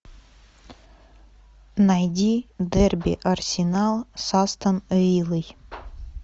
найди дерби арсенал с астон виллой